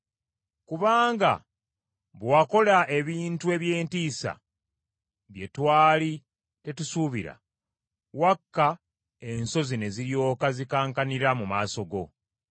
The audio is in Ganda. Kubanga bwe wakola ebintu eby’entiisa bye twali tetusuubira, wakka ensozi ne ziryoka zikankanira mu maaso go.